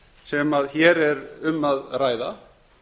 sem hér er um að ræða